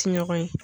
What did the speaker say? Tiɲɔgɔn ye